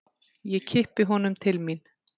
Ég kippi honum til mín.